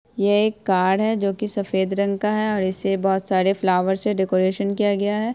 ये एक कार है जो कि सफेद रंग का है और इसे बहोत सारे फ्लावर से डेकोरेशन किया गया है।